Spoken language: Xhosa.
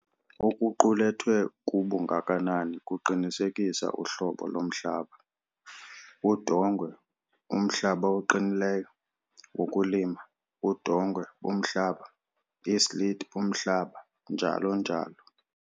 Okuqulethwe kubungakanani kuqinisekisa uhlobo lomhlaba- udongwe, umhlaba oqinileyo wokulima, udongwe-bumhlaba, islit-bumhlaba, njalo njalo.